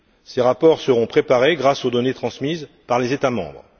Ces rapports seront préparés grâce aux données transmises par les États membres.